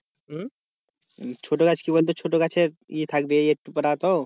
ছোটো গাছ কি বলতো ছোটো গাছের ই থাকবে একটু পারাতো